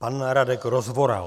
Pan Radek Rozvoral.